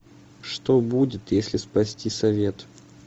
что будет если спасти совет